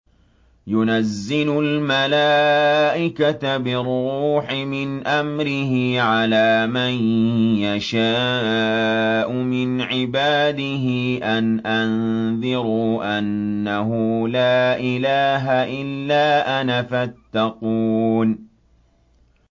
يُنَزِّلُ الْمَلَائِكَةَ بِالرُّوحِ مِنْ أَمْرِهِ عَلَىٰ مَن يَشَاءُ مِنْ عِبَادِهِ أَنْ أَنذِرُوا أَنَّهُ لَا إِلَٰهَ إِلَّا أَنَا فَاتَّقُونِ